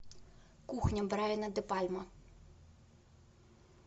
кухня брайана де пальма